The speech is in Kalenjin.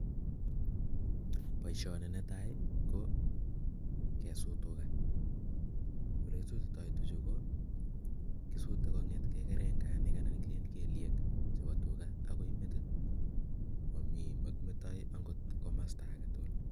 Baishoni netai kokesut tuga olekisutitoi tuga Chu ko kisute kainget geliek akoi merit AK makimetoi komasta agetugul